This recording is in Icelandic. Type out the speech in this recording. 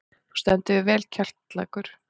Þú stendur þig vel, Kjallakur!